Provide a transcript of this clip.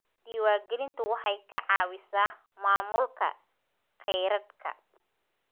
Diiwaangelintu waxay ka caawisaa maamulka kheyraadka.